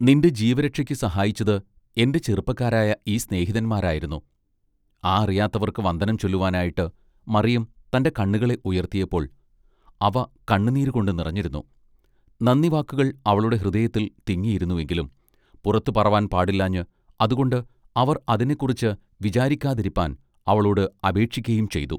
നിന്റെ ജീവരക്ഷക്ക് സഹായിച്ചത് എന്റെ ചെറുപ്പക്കാരായ ഈ സ്നേഹിതന്മാർ ആയിരുന്നു ആ അറിയാത്തവർക്ക് വന്ദനം ചൊല്ലുവാനായിട്ട് മറിയം തന്റെ കണ്ണുകളെ ഉയർത്തിയപ്പോൾ അവ കണ്ണു നീരു കൊണ്ട് നിറഞ്ഞിരുന്നു നന്ദിവാക്കുകൾ അവളുടെ ഹൃദയത്തിൽ തിങ്ങിയിരുന്നുവെങ്കിലും പുറത്തു പറവാൻ പാടില്ലാഞ്ഞ് അതുകൊണ്ട് അവർ അതിനെക്കുറിച്ച് വിചാരിക്കാതിരിപ്പാൻ അവളോട് അപേക്ഷിക്കയും ചെയ്തു.